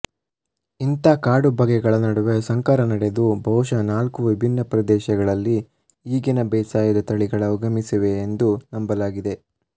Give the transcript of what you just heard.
ಇಂಥ ಕಾಡುಬಗೆಗಳ ನಡುವೆ ಸಂಕರ ನಡೆದು ಬಹುಶಃ ನಾಲ್ಕು ವಿಭಿನ್ನ ಪ್ರದೇಶಗಳಲ್ಲಿ ಈಗಿನ ಬೇಸಾಯದ ತಳಿಗಳ ಉಗಮಿಸಿವೆ ಎಂದು ನಂಬಲಾಗಿದೆ